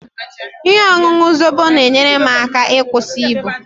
Ihe ọṅụṅụ Zobo na-enyere m aka ịkwụsị ibu